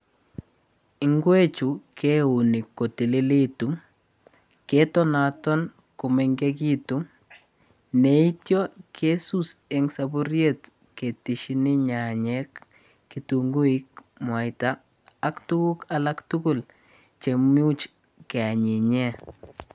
Inkwechu keunii kotilitu ketonaton komengekitun neitio kesus en soburiet ketesienii nyanyek ,ketenguik mwaita ak tuguk alak tugul cheimuch keanyinyen.